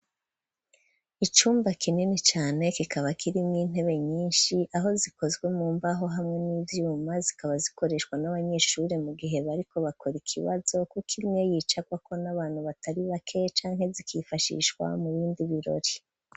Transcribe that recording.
Icumba kinini cane, kikaba kirimwo intebe nyinshi, aho zikozwe mu mbaho hamwe n'ivyuma; zikaba zikoreshwa n'abanyeshure mu gihe bariko bakora ikibazo, kuko imwe yicarwako n'abantu batari bake, canke zikifashishwa mu bindi birori.